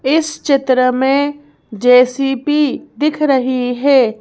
इस चित्र में जे_सी_पी दिख रही है।